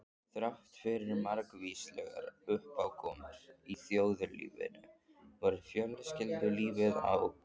Þráttfyrir margvíslegar uppákomur í þjóðlífinu var fjölskyldulífið á